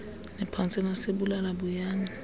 niphantse nasibulala buyani